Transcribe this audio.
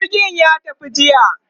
jirgin ya tafi jiya